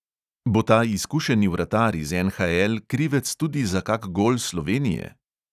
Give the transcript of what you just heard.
Bo ta izkušeni vratar iz NHL krivec tudi za kak gol slovenije?